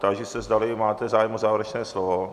Táži se, zdali máte zájem o závěrečné slovo?